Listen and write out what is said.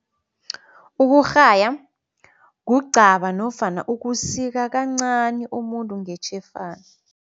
Ukurhaya, kugcaba nofana ukusika kancani umuntu ngetjhefana.